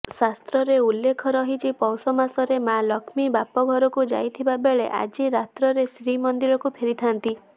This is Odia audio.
ଶାସ୍ତ୍ରରେ ଉଲ୍ଲେଖ ରହିଛି ପୌଷ ମାସରେ ମା ଲକ୍ଷ୍ମୀ ବାପଘରକୁ ଯାଇଥିବା ବେଳେ ଆଜି ରାତ୍ରରେ ଶ୍ରୀମନ୍ଦିରକୁ ଫେରିଥାନ୍ତି